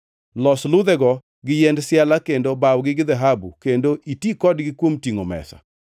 Los ludhego gi yiend siala kendo bawgi gi dhahabu kendo iti kodgi kuom tingʼo mesa.